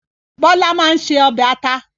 Bọ́lá máa ń ṣe ọbẹ̀ ata